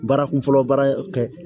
Baarakun fɔlɔ baara kɛ